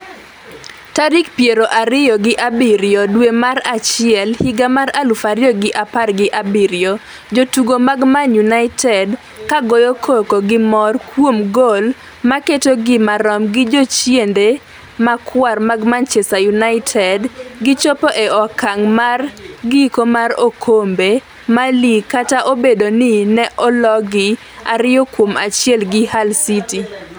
tarik piero ariyo gi abiriyo dwe mar achiel higa mar aluf ariyo gi apar gi abiriyo. Jotugo mag Man United kagoyo koko gi mor kuom gol maketogi marom gi jochiende marakwar mag Manchester United gichopo e okang' mar giko mar okombe mar lig kata obedo ni ne ologi ariyo kuom achiel gi Hull City